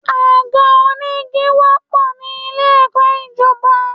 Àga onígi wọ́pọ̀ nílé ẹ̀kọ́ ìjọba.